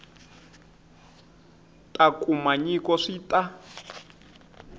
ta kuma nyiko swi ta